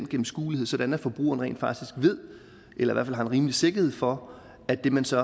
gennemskuelighed sådan at forbrugerne rent faktisk ved eller fald har en rimelig sikkerhed for at det man så